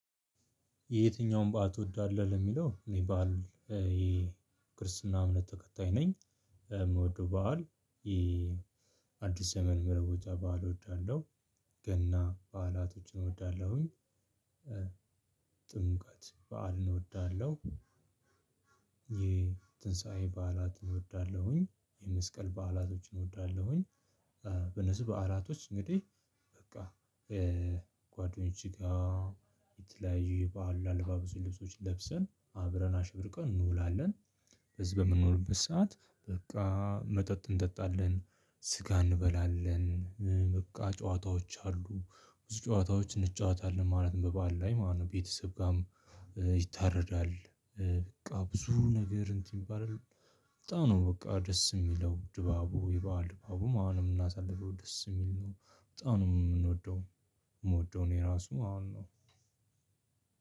የየትኛውን በዓል ትወዳለህ? ለሚለው እኔ በዓል የክርስትና እምነት ተከታይ ነኝ የምወደው በዓል የአዲስ ዘመን ምርቦጃ በዓል እወዳለሁ። ገና በዓላቶችን እወዳለሁኝ። ጥምቀት በዓል እንወዳለሁ። የትንሳኤ በዓላትን እወዳለሁኝ። የመስቀል በዓላቶችን እወዳለሁኝ። በነዚህ በዓላቶች እንግዲህ በቃ ጓደኞች ጋር የተለያዩ የባህል አለባበስ ልብሶች ለብሰን አብረን አሽብርቀን እንውላለን። በዚህ በምንኖርበት ሰዓት በቃ መጠጥ እንጠጣለን ስጋ እንበላለን በቃ ጨዋታዎች አሉ ብዙ ጨዋታዎች እንጫወታለን ማለትም በባዓል ላይ ማለት ነው። ቤተሰብ ጋርም ይታረዳል። በቃ ብዙ ነገር እንትን ይባላል። በጣም ነው በቃ ደስ የሚለው ድባቡ የበአል ድባቡም አሁንም ምናሳልፈው ደስ የሚል ነው። በጣም ነው የምንወደው የምወደው እኔ ራሱ አሁን ነው።